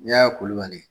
N'i y'a kolon ka di